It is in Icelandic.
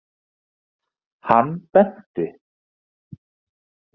Hann benti.